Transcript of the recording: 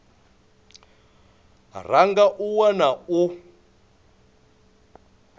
ra nga a wana u